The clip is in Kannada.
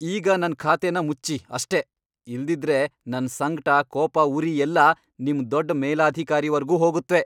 ಈಗ ನನ್ ಖಾತೆನ ಮುಚ್ಚಿ ಅಷ್ಟೇ, ಇಲ್ದಿದ್ರೆ ನನ್ ಸಂಕ್ಟ, ಕೋಪ, ಉರಿ ಎಲ್ಲ ನಿಮ್ ದೊಡ್ಡ್ ಮೇಲಧಿಕಾರಿವರ್ಗೂ ಹೋಗತ್ವೆ.